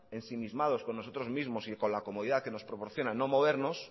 ensimismados con nosotros mismos y con la comodidad que nos proporcionan no movernos